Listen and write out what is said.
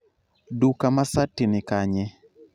duka ma sati ni kanye?